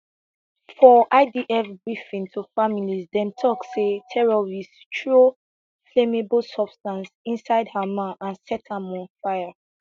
for idf briefing to families dem tok say terrorists throw flammable substance inside hamal and set am on fire